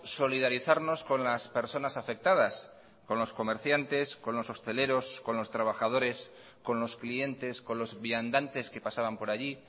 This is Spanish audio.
solidarizarnos con las personas afectadas con los comerciantes con los hosteleros con los trabajadores con los clientes con los viandantes que pasaban por allí